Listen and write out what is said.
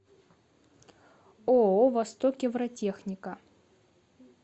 ооо востокевротехника